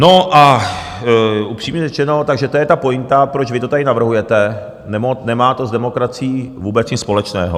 No a upřímně řečeno, takže to je ta pointa, proč vy to tady navrhujete, nemá to s demokracií vůbec nic společného.